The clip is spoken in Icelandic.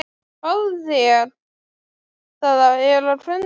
Fáðu þér, það er á könnunni.